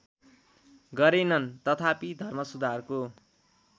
गरेनन् तथापि धर्मसुधारको